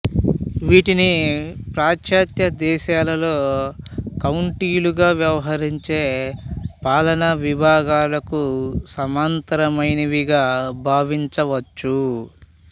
వీటిని పాశ్చాత్య దేశాలలో కౌంటీలుగా వ్యవహరించే పాలనా విభాగాలకు సమాంతరమైనవిగా భావించవచ్చు